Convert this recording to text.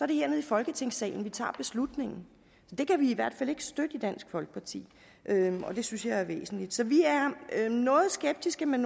det hernede i folketingssalen vi tager beslutningen så det kan vi i hvert fald ikke støtte i dansk folkeparti og det synes jeg er væsentligt så vi er noget skeptiske med